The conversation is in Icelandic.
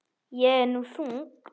Ég er nú þung.